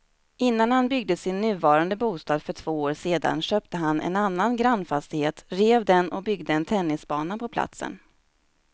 Innan han byggde sin nuvarande bostad för två år sedan köpte han en annan grannfastighet, rev den och byggde en tennisbana på platsen.